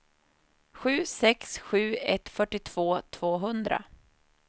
sju sex sju ett fyrtiotvå tvåhundra